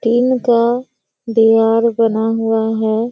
Tin का दिवार बना हुआ है।